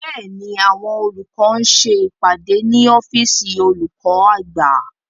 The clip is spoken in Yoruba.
Bẹ́ẹ̀ni, àwọn olùkọ́ ń ṣe ìpàdé ní ọ́fìsìn olùkọ́ àgbà